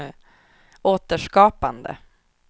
återskapande